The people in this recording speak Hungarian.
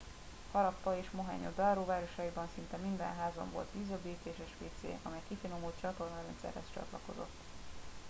harappa és mohenjo daro városaiban szinte minden házban volt vízöblítéses wc amely kifinomult csatornarendszerhez csatlakozott